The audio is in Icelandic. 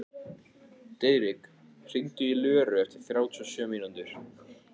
Diðrik, hringdu í Löru eftir þrjátíu og sjö mínútur.